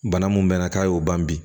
Bana mun bɛn na k'a y'o ban bi